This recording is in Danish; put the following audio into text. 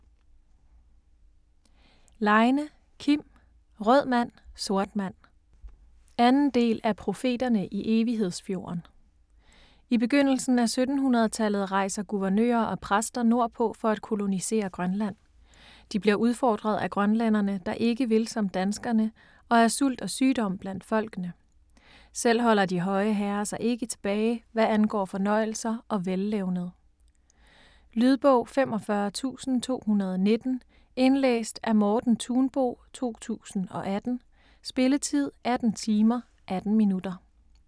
Leine, Kim: Rød mand - sort mand 2. del af Profeterne i Evighedsfjorden. I begyndelsen af 1700-tallet rejser guvernører og præster nordpå for at kolonisere Grønland. De bliver udfordret af grønlændere, der ikke vil som danskerne, og af sult og sygdom blandt folkene. Selv holder de høje herrer sig ikke tilbage, hvad angår fornøjelser og vellevned. Lydbog 45219 Indlæst af Morten Thunbo, 2018. Spilletid: 18 timer, 18 minutter.